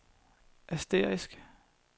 asterisk